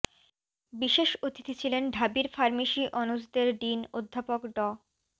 বিশেষ অতিথি ছিলেন ঢাবির ফার্মেসি অনুষদের ডিন অধ্যাপক ড